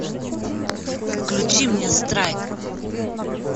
включи мне страйк